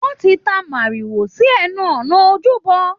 Wọ́n ti ta mòrìwò sí ẹnu ọ̀nà ojúbọ.